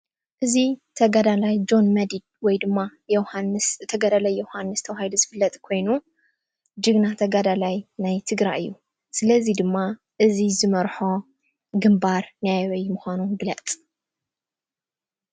እዚ ተጋዳላይ ጆን መዲድ ወይ ድማ ተጋዳላይ ዮሃንስ ተባሂሉ ዝፍለጥ ኮይኑ ጅግና ተጋዳላይ ናይ ትግራይ እዩ:: ስለዚ ድማ እዚ ዝመርሖ ግንባር ናይ ኣበይ ምኳኑ ግለፅ ?